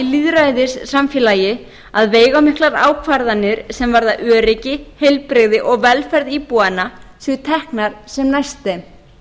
lýðræðissamfélagi að veigamiklar ákvarðanir sem varða öryggi heilbrigði og velferð íbúanna séu teknar sem næst þeim